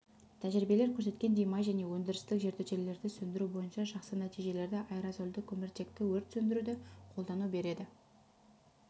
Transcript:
тәжірибелер көрсеткендей май және өндірістік жертөлелерді сөндіру бойынша жақсы нәтижелерді аэрозольді көміртекті өрт сөндіруді қолдану береді